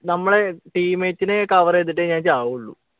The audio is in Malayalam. നമ്മളെ team mate നെ cover ചെയ്തിട്ടേ ഞാൻ ചാവുള്ളു